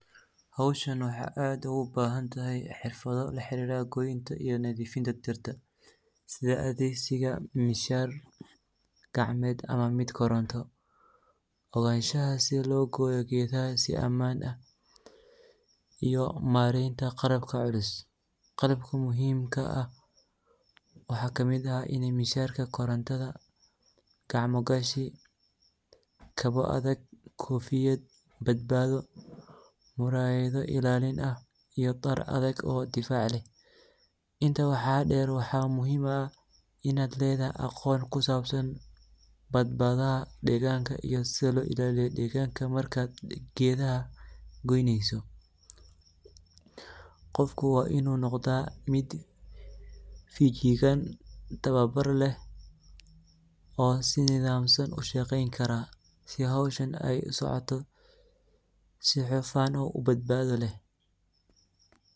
Howshani waxa aad ogubahantahay xirfado laxariro goynta iyo nadifinta iyo nadifnta dirta, sidhaa adhegsinta mishal gacmed ama mid koronto, uganshaha sidi logoyo gedaha sii aman ah iyo mareynta qalabka culus, qalabka muhimka waxa kamid ah ini mishalka korontada, gacmo gashi, kaboo adhag, kofiyad badbado, murayado ilalin ah, iyo dar adhag oo difac leh, inta waxa deer waxa muhim aah inad ledahay aqoon kusabsan badbadaha deganka iyo sidii loo ilaliyo deganka gedaha goyneyso, qofku waa inu noqda mid fijigan tawabar leh oo sii nidamsan ushaqeyni kara sii aay hoshan usocoto sii hufan oo badbado leh.